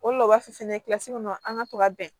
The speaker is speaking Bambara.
O de la u b'a fɔ fɛnɛ kilasi kɔnɔ an ka to ka bɛn